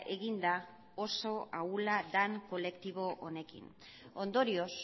egin da oso ahula den kolektibo honekin ondorioz